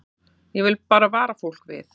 Ég vil bara vara fólk við.